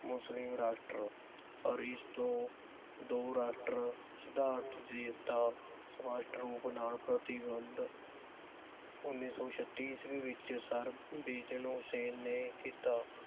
ਮੁਸਲਿਮ ਰਾਸ਼ਟਰ ਅਰਿਸਤੋ ਦੋ ਰਾਸ਼ਟਰ ਸਿਧਾਂਤ ਦੀ ਤਾਂ ਪ੍ਰਤਿਬੰਧ ਉੱਨੀ ਸੋ ਛੱਤੀ ਈਸਵੀ ਵਿਚ ਸਰ ਹੁਸੈਨ ਨੇ ਕੀਤਾ